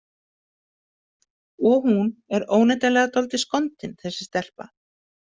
Og hún er óneitanlega dálítið skondin, þessi stelpa.